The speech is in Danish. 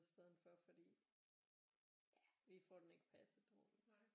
I stedet for fordi ja vi får den ikke passet ordentligt